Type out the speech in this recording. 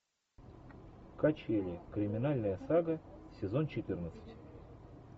качели криминальная сага сезон четырнадцать